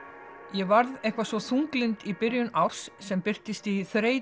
ég varð eitthvað svo þunglynd í byrjun árs sem birtist í þreytu